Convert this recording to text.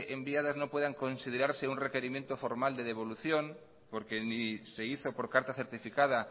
enviadas no pueden considerarse un requerimiento formal de devolución porque ni se hizo por carta certificada